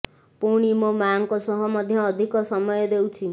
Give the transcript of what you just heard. ପୁଣି ମୋ ମାଆଙ୍କ ସହ ମଧ୍ୟ ଅଧିକ ସମୟ ଦେଉଛି